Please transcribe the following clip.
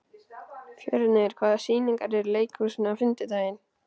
Fjörnir, hvaða sýningar eru í leikhúsinu á fimmtudaginn?